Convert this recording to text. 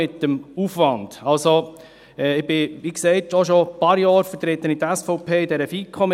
Ich vertrete die SVP, wie gesagt, schon ein paar Jahre in der FiKo.